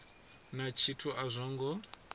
na tshithu a zwo ngo